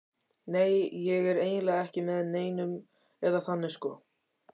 Nei, ég er eiginlega ekki með neinum, eða þannig sko.